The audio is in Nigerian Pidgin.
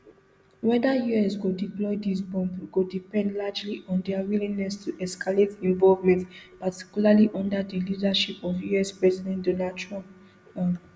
weda us go deploy dis bomb go depend largely on dia willingness to escalate involvement particularly under di leadership of us president donald trump um